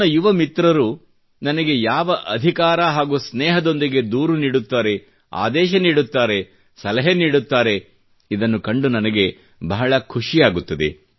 ನನ್ನ ಯುವ ಮಿತ್ರ ನನಗೆ ಯಾವ ಅಧಿಕಾರ ಹಾಗೂ ಸ್ನೇಹದೊಂದಿಗೆ ದೂರು ನೀಡುತ್ತಾರೆ ಆದೇಶ ನೀಡುತ್ತಾರೆ ಸಲಹೆ ನೀಡುತ್ತಾರೆ ಇದನ್ನು ಕಂಡು ನನಗೆ ಬಹಳ ಖುಷಿಯಾಗುತ್ತದೆ